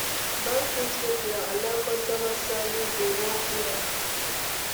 Bank fit make their online customer service dey work well